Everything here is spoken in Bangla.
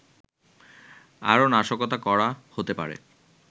আরও নাশকতা করা হতে পারে